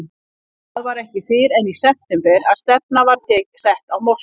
Það var ekki fyrr en í september að stefnan var sett á Moskvu.